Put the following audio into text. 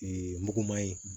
muguman ye